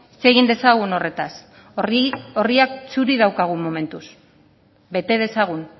hitz egin dezagun horretaz orriak txuri dauzkagu momentuz bete dezagun